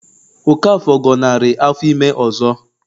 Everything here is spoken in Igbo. Okafor gọnarị afọ ime ọzọ